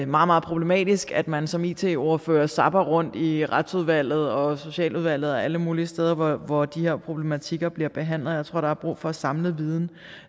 meget problematisk at man som it ordfører zapper rundt i retsudvalget og socialudvalget og alle mulige steder hvor hvor de her problematikker bliver behandlet jeg tror der er brug for at samle viden